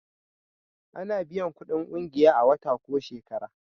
A na biyan kudin ƙungiya a wata ko shekara